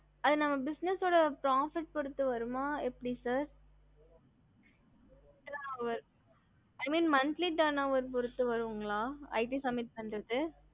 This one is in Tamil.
ஹம்